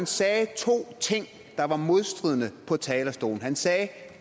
sagde to ting der var modstridende på talerstolen han sagde at